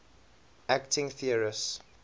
acting theorists